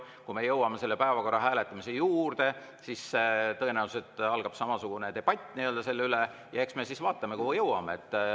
Kui me jõuame päevakorra hääletamise juurde, siis tõenäoliselt algab samasugune debatt selle üle ja eks me siis vaatame, kuhu jõuame.